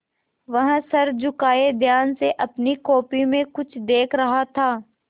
वह सर झुकाये ध्यान से अपनी कॉपी में कुछ देख रहा था